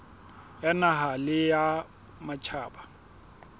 ya naha le ya matjhaba